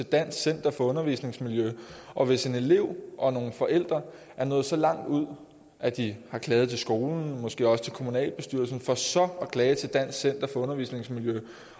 dansk center for undervisningsmiljø og hvis en elev og nogle forældre er nået så langt ud at de har klaget til skolen og måske også til kommunalbestyrelsen for så at klage til dansk center for undervisningsmiljø